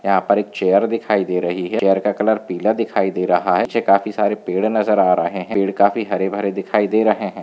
यहा पर एक चैर दिखाई दे रही है चैर का कलर पीला दिखाई दे रहा है पीछे काफी सारे पेड़ नजर आ रहे है पेड़ काफी हरे भरे दिखाई दे रहे है।